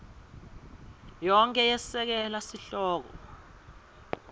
yonkhe yesekela sihloko